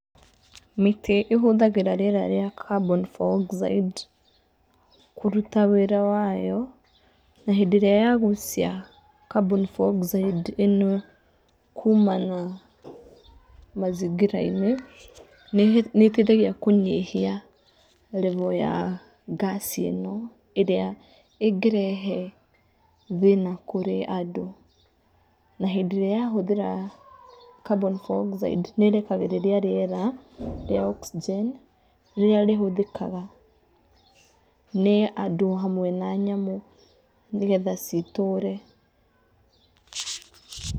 Mĩtĩ ĩhũthagĩra rĩera rĩa carbon(iv)oxide kũruta wĩra wayo. Na hĩndĩ ĩrĩa ya gucia carbon(iv)oxide ĩno kumana na mazingira~inĩ nĩ ĩteithagia kunyihia level ya gas ĩno ĩrĩa ĩngĩrehe thĩna kũrĩ andũ. Na hĩndĩ ĩrĩa ya hũthĩra carbon(iv)oxide nĩ ĩrekagĩrĩria riera rĩa oxygen rĩrĩa rĩhũthĩkaga nĩ andũ hamwe na nyamũ ni getha citũre.